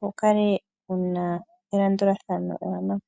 wu kale wuna elandulathano ewanawa.